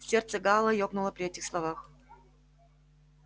сердце гаала ёкнуло при этих словах